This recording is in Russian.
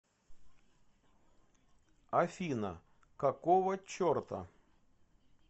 афина какого черта